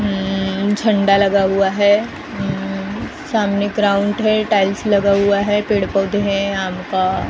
अम्म झंडा लगा हुआ है अम्म सामने क्राउंट है टाइल्स लगा हुआ है पेड़ पौधे है आम का --